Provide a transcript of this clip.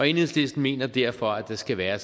enhedslisten mener derfor at der skal være